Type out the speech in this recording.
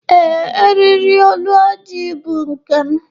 Ee, eriri olu ojii bụ nke m.